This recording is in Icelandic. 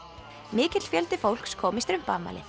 mikill fjöldi fólks kom í